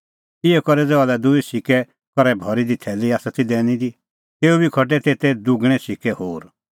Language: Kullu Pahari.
इहअ करै ज़हा लै दूई सुन्नें सिक्कै करै भरी थैली आसा ती दैनी दी तेऊ बी खटै तेते दुगणैं सिक्कै होर